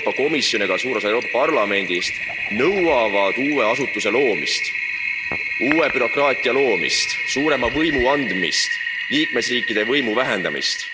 Euroopa Komisjon ja ka suur osa Euroopa Parlamendist nõuavad uue asutuse loomist, uue bürokraatia loomist, suurema võimu andmist, liikmesriikide võimu vähendamist.